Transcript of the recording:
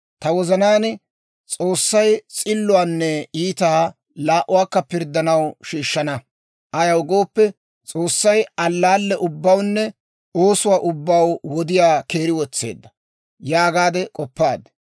Ta wozanaan, «S'oossay s'illuwaanne iitaa laa"uwaakka pirddaw shiishshana; ayaw gooppe, S'oossay allaalle ubbawunne oosuwaa ubbaw wodiyaa keeri wotseedda» yaagaade k'oppaaddi.